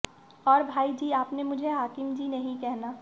और भाई जी आपने मुझे हाकिम जी नहीं कहना